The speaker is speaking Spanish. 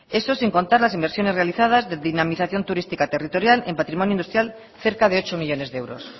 eso sin contar las inversiones realizadas de dinamización turística territorial en patrimonio industrial cerca de ocho millónes de euros